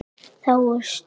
Þá er stuð.